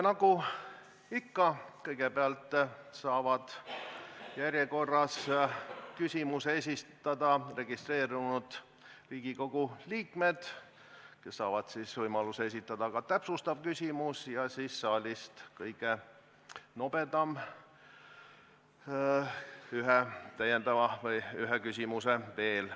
Nagu ikka, kõigepealt saavad järjekorras küsimuse esitada registreerunud Riigikogu liikmed, kes saavad võimaluse esitada ka täpsustava küsimuse, ja siis saab saalist kõige nobedam esitada ühe küsimuse veel.